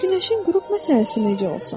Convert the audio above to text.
Bəs günəşin qürub məsələsi necə olsun?